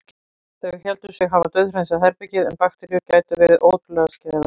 Þau héldu sig hafa dauðhreinsað herbergið- en bakteríur geta verið ótrúlega skæðar.